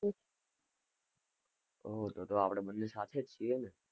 oh તો તો આપણે બંને સાથે જ છીએ ને?